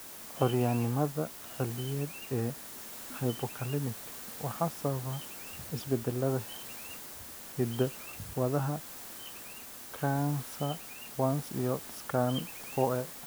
Curyaannimada xilliyeed ee Hypokalemic waxaa sababa isbeddellada hidda-wadaha CACNA1S iyo SCN4A.